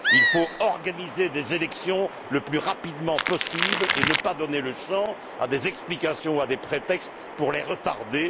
Il faut organiser des élections le plus rapidement possible et ne pas donner le champ à des explications ou à des prétextes pour les retarder.